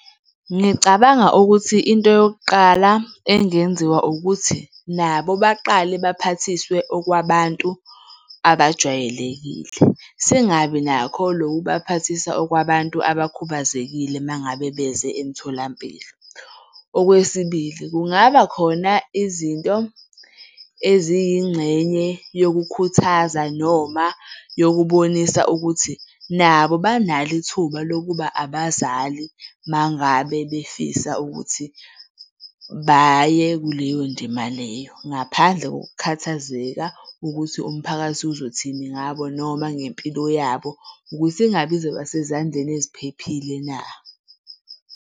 Ngicabanga ukuthi into yokuqala engenziwa ukuthi nabo baqale baphathiswe okwabantu abajwayelekile. Singabi nakho lokubaphathise okwabantu abakhubazekile uma ngabe beze emtholampilo. Okwesibili, kungaba khona izinto eziyingxenye yokukhuthaza noma yokubonisa ukuthi nabo banalo ithuba lokuba abazali uma ngabe befisa ukuthi baye kuleyo ndima leyo, ngaphandle ngokukhathazeka ukuthi umphakathi uzothini ngabo noma ngempilo yabo ukuthi ingabe izoba sezandleni eziphephile na?